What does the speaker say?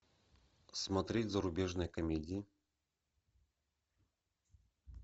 смотреть зарубежные комедии